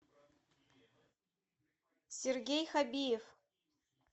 сергей хабиев